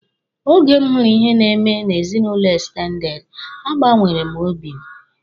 Oge m hụrụ ihe na-eme n'ezinụlọ ekstendede, a gbanwere m obi m.